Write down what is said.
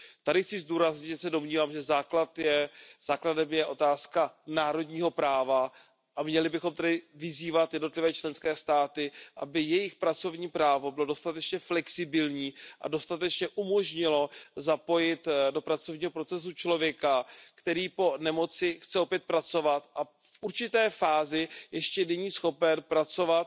Tady chci zdůraznit, že se domnívám, že základem je otázka národního práva, a měli bychom tedy vyzývat jednotlivé členské státy, aby jejich pracovní právo bylo dostatečně flexibilní a dostatečně umožnilo zapojit do pracovního procesu člověka, který po nemoci chce opět pracovat a v určité fázi ještě není schopen pracovat